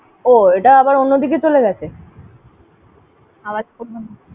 ও, এটা আবার অন্যদিকে চলে গেছে?